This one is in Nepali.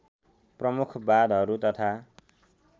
प्रमुख बाँधहरू तथा